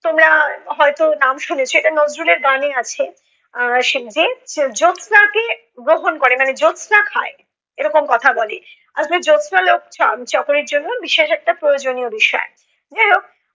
তোমরা হয়ত নাম শুনেছ, এটা নজরুলের গানে আছে। আহ সে যে জ্যোছনাকে গ্রহণ করে। মানে জ্যোছনা খায়। এরকম কথা বলে। আর হচ্ছে জ্যোছনালোক চ~ চকরির জন্য বিশেষ একটা প্রয়োজনীয় বিষয়।